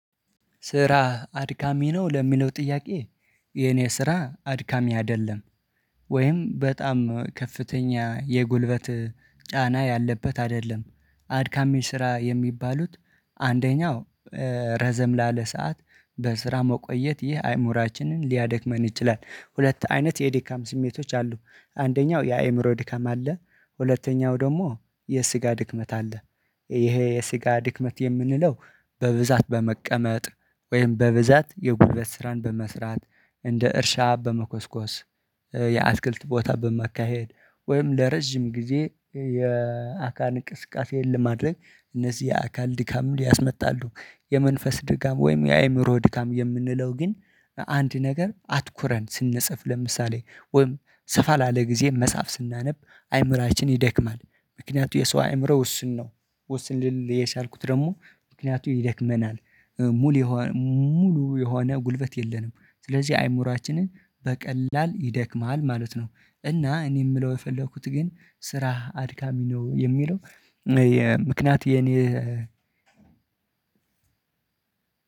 ስራህ አድካሚ ነው ለሚለው ጥያቄ? የኔ ስራ አድካሚ አይደለም። ወይም በጣም ከፍተኛ የጉልበት ጫና ያለበት አይደለም። አድካሚ ስራ የሚባሉት አንደኛው ረዘም ላለ ሰዓት በስራ መቆየት ይህ አይምሮአችንን ሊያደክመን ይችላል። ሁለት አይነት የድካም ስሜቶች አሉ። አንደኛው የአእምሮ ድካም አለ። ሁለተኛው ደግሞ የስጋ ድክመት አለ። ይሄ የስጋ ድክመት የምንለው በብዛት በመቀመጥ ወይም በብዛት የጉልበት ስራን በመስራት እንደ እርሻ በመኮስኮስ የአትክልት ቦታ በማካሄድ ወይም ለረጅም ጊዜ የአካል እንቅስቃሴን ለማድረግ እነዚህ የአካል ድካም ያስመጣሉ። የመንፈስ ድካም ወይም የአእምሮ ድካም የምንለው ግን አንድ ነገር አትኩረን ስንጽፍ ለምሳሌ ወይም ሰፋ ላለ ጊዜ መፀሀፍ ስናነብ አይምሮአችን ይደክማል። ምክንያቱም የሰው አእምሮ ውስን ነው። ውስን ልል የሻልኩት ደግሞ ምክንያቱም ይደክመናል። ሙሉ የሆነ ሙሉ የሆነ ጉልበት የለንም። ስለዚህ አይምሮአችንን በቀላል ይደክማል ማለት ነው። እና እኔ የምለው የፈለኩት ግን ስራህ አድካሚ ነው የሚለው ምክንያቱም የኔ